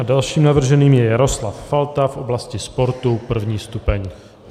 A dalším navrženým je Jaroslav Falta v oblasti sportu, 1. stupeň.